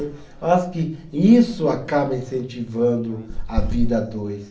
Eu acho que isso acaba incentivando a vida a dois.